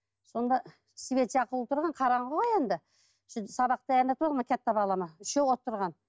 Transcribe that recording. сонда свет жағулы тұрған қараңғы ғой енді сөйтіп сабақ балама үшеуі отырған